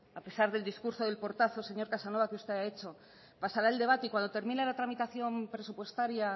a pesar del discurso del portazo señor casanova que usted ha hecho pasará el debate y cuando termine la tramitación presupuestaria